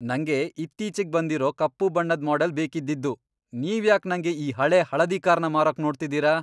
ನಂಗೆ ಇತ್ತೀಚಿಗ್ ಬಂದಿರೋ ಕಪ್ಪು ಬಣ್ಣದ್ ಮಾಡೆಲ್ ಬೇಕಿದ್ದಿದ್ದು. ನೀವ್ಯಾಕ್ ನಂಗೆ ಈ ಹಳೇ ಹಳದಿ ಕಾರ್ನ ಮಾರೋಕ್ ನೋಡ್ತಿದೀರ?!